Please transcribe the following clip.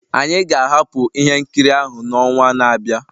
Anyị ga-ahapụ ihe nkiri ahụ n'ọnwa na-abịa